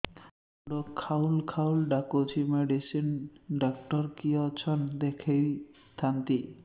ମୁଣ୍ଡ ଖାଉଲ୍ ଖାଉଲ୍ ଡାକୁଚି ମେଡିସିନ ଡାକ୍ତର କିଏ ଅଛନ୍ ଦେଖେଇ ଥାନ୍ତି